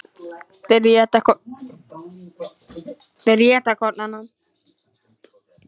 Þeir éta hvorn annan.